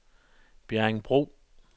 Bjerringbro